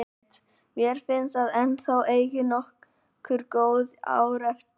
Mér finnst ég ennþá eiga nokkur góð ár eftir.